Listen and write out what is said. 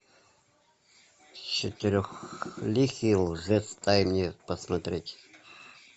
четырехликий лжец дай мне посмотреть